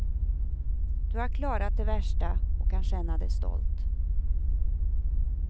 Du har klarat det värsta och kan känna dig stolt.